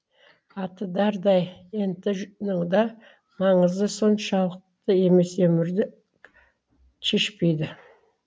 аты дардай ент ның да маңызы соншалықты емес өмірді шешпейді